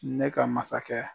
Ne ka masakɛ